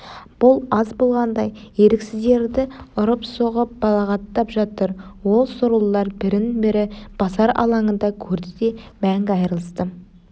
бұл аз болғандай еріксіздерді ұрып-соғып балағаттап жатыр ол сорлылар бірін-бірі базар алаңында көрді де мәңгі айрылысты